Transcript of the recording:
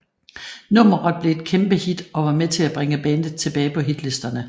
Nummeret blev et kæmpe hit og var med til at bringe bandet tilbage på hitlisterne